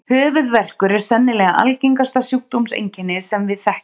Höfuðverkur er sennilega algengasta sjúkdómseinkenni sem við þekkjum.